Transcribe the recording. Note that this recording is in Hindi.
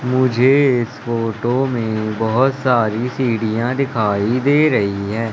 मुझे इस फोटो में बहोत सारी सीढ़ियां दिखाई दे रही है।